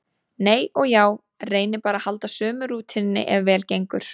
Nei og já, reyni bara að halda sömu rútínunni ef vel gengur.